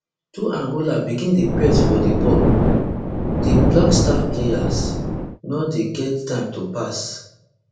twoangola begin dey press for di ball di blackstars players no dey get time to pass